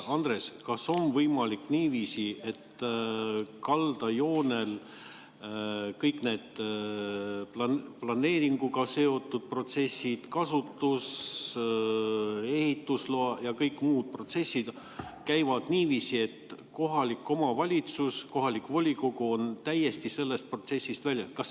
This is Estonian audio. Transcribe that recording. Andres, kas on võimalik niiviisi, et kaldajoonel kõik need planeeringuga seotud protsessid, kasutus-, ehitusloa ja kõik muud protsessid käivad niiviisi, et kohalik omavalitsus, kohalik volikogu on täiesti sellest protsessist väljas?